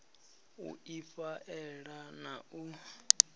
u ifha ela na u